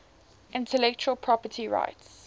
intellectual property rights